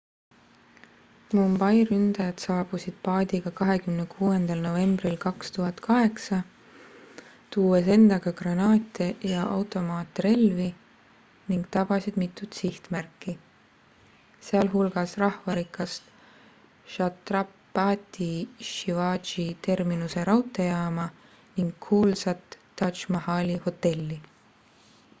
mumbai ründajad saabusid paadiga 26 novembril 2008 tuues endaga granaate ja automaatrelvi ning tabasid mitut sihtmärki sealhulgas rahvarikast chhatrapati shivaji terminuse raudteejaama ning kuulsat taj mahali hotelli